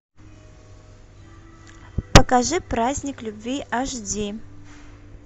покажи праздник любви аш ди